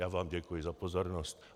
Já vám děkuji za pozornost.